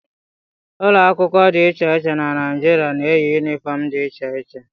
Ụlọ akwụkwọ dị iche iche dị na Naịjirịa na-eyi yunifọm dị iche iche.